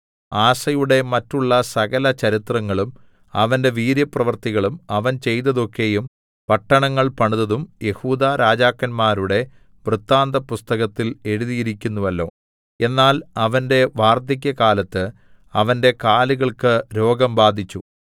ആസയുടെ മറ്റുള്ള സകല ചരിത്രങ്ങളും അവന്റെ വീര്യപ്രവൃത്തികളും അവൻ ചെയ്തതൊക്കെയും പട്ടണങ്ങൾ പണിതതും യെഹൂദാ രാജാക്കന്മാരുടെ വൃത്താന്തപുസ്തകത്തിൽ എഴുതിയിരിക്കുന്നുവല്ലോ എന്നാൽ അവന്റെ വാർദ്ധക്യകാലത്ത് അവന്റെ കാലുകൾക്ക് രോഗം ബാധിച്ചു